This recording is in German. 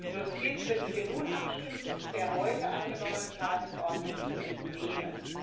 Die Dossiers, über die wir nun abstimmen, sind der heute angenommenen Tagesordnung zu entnehmen.